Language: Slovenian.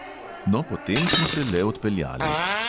No, potem smo se le odpeljali.